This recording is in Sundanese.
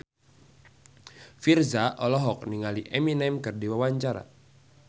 Virzha olohok ningali Eminem keur diwawancara